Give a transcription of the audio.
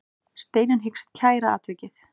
Steinunn hyggst kæra atvikið.